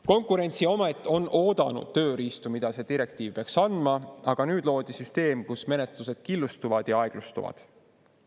Konkurentsiamet on oodanud tööriistu, mida see direktiiv peaks andma, aga nüüd loodi süsteem, kus menetlused killustuvad ja aeglustuvad.